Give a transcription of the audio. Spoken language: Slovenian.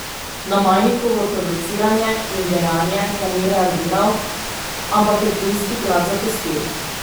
Na Majnikovo provociranje in dejanje pa ni reagiral, ampak je ptujski grad zapustil.